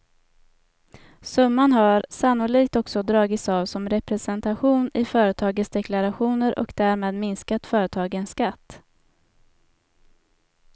Summan har sannolikt också dragits av som representation i företagens deklarationer och därmed minskat företagens skatt.